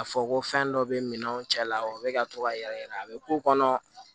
A fɔ ko fɛn dɔ be minɛnw cɛla la o be ka to ka yɛrɛyɛrɛ a bɛ k'u kɔnɔ